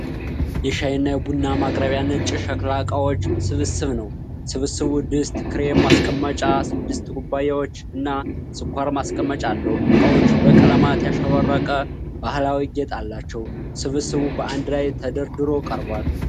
የሻይ እና የቡና ማቅረቢያ ነጭ የሸክላ እቃዎች ስብስብ ነው። ስብስቡ ድስት፣ ክሬም ማስቀመጫ፣ ስድስት ኩባያዎች እና ስኳር ማስቀመጫ አለው። እቃዎቹ በቀለማት ያሸበረቀ ባህላዊ ጌጥ አላቸው። ስብስቡ በአንድ ላይ ተደርድሮ ቀርቧል።